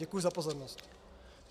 Děkuji za pozornost.